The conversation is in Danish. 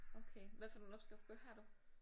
Okay hvad for nogle opskriftsbøger har du?